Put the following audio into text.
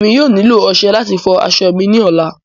Emi yóò nilo ọṣẹ lati fọ aṣọ mi ni ọla